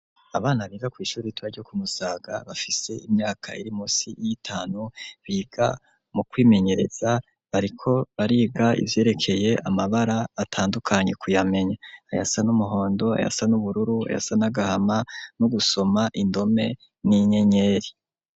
Abana biga kw'ishure ritoya ryo kumusaga, bafise imyaka iri munsi yitanu, biga mukwimenyereza bariko bariga ivyerekeye Amabara atandukanye kuyamenya. Ayasa n'Umuhondo, Ayasa n'Ubururu ayasa n'agahama nugusoma indome ,n'inyenyeri.